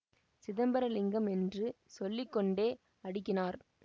சிதம்பரலிங்கம் என்று சொல்லி கொண்டே அடுக்கினார்